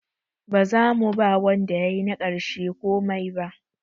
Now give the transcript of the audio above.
Ba za mu ba wanda yayi na ƙarshe komai ba.